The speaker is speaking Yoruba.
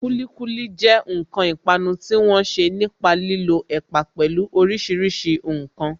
Kulikuli jẹ́ ǹkan ìpanu tí wọ́n ṣe nípa lílo ẹ̀pà, pẹlu orísìírísìí ǹkan